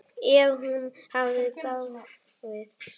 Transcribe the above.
Ef hún hefði dáið.